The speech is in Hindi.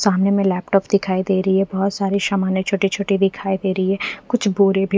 सामने में लैपटॉप दिखाई दे रही है बहोत सारे सामान है छोटे छोटे दिखाई दे रही है कुछ भूरी भी--